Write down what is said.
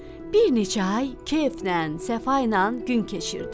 Bir neçə ay keyflə, səfa ilə gün keçirtdilər.